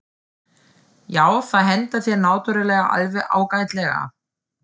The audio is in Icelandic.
Já, það hentar þér náttúrulega alveg ágætlega.